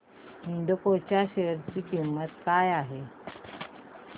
एल्डेको च्या शेअर ची किंमत काय आहे